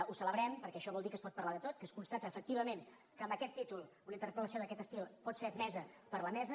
ho celebrem perquè això vol dir que es pot parlar de tot que es constata efectivament que amb aquest títol una interpel·lació d’aquest estil pot ser admesa per la mesa